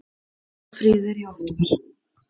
Haustfríið er í október.